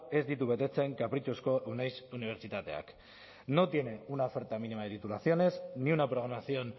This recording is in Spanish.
ez ditu betetzen kapritxozko uneiz unibertsitateak no tiene una oferta mínima de titulaciones ni una programación